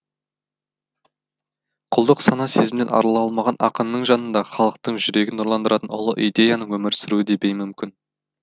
құлдық сана сезімнен арыла алмаған ақынның жанында халықтың жүрегін нұрландыратын ұлы идеяның өмір сүруі де беймүмкін